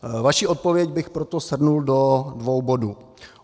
Vaši odpověď bych proto shrnul do dvou bodů.